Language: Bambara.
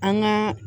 An ka